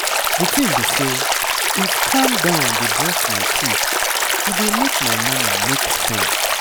di tin be say if calm down dey brush my teeth e dey make my morning make sense